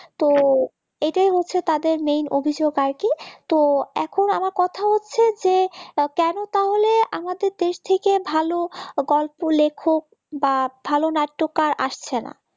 তো এটাই হচ্ছে তাদের মেন অভিযোগ আর কি তো এখন আমার কথা হচ্ছে যে কেন তাহলে আমাদের দেশ থেকে ভালো গল্প লেখক বা ভালো নাট্যকার আসছেনা?